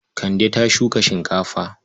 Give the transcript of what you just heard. Kande ta shuka shinkafa.